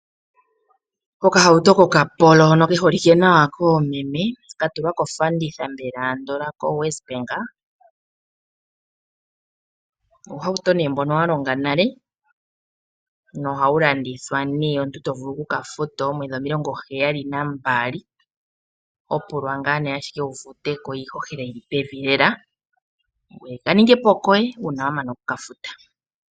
Okahauto kOkapolo hono ke holike nawa koomeme, ka tulwa kofanditha mbela andola koWesBank. Uuhauto nee mbono wa longa nale nohawu landithwa nee omuntu to vulu oku ka futa oomwedhi omilongo heyali nambali, ho pulwa ngaa nee ashike wu fute ko iihohela yi li pevi lela ko ka ninge po koye uuna wa mana oku ka futa.